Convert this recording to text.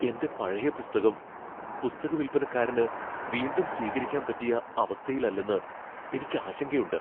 എന്റെ പഴയ പുസ്തകം പുസ്തകവിൽപ്പനക്കാരന് വീണ്ടും സ്വീകരിക്കാൻ പറ്റിയ അവസ്ഥയിലല്ലെന്ന് എനിക്ക് ആശങ്കയുണ്ട്.